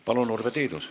Palun, Urve Tiidus!